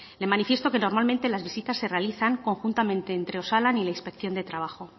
le manifiesto que normalmente las visitas se realizan conjuntamente entre osalan y la inspección de trabajo